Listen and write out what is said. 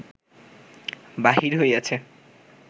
বাহির হইয়াছে